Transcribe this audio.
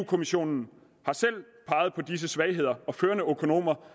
kommissionen har selv peget på disse svagheder og førende økonomer